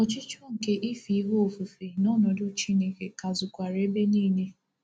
Ọchịchọ nke ife ihe ofufe n’ọnọdụ Chineke ka zukwara ebe niile.